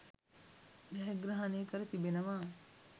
ජයග්‍රහණය කර තිබෙනවා.